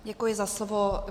Děkuji za slovo.